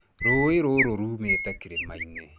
Rũũĩ rũu ruumĩte kĩrĩma-inĩ.